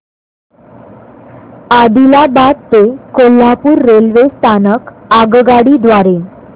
आदिलाबाद ते कोल्हापूर रेल्वे स्थानक आगगाडी द्वारे